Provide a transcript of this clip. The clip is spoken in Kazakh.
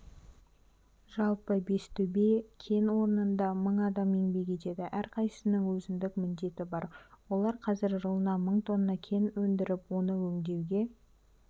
жалпы бестөбе кен орнында мың адам еңбек етеді әрқайсысының өзіндік міндеті бар олар қазір жылына мың тонна кен өндіріп оны өңдеуге